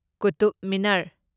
Qutub Minar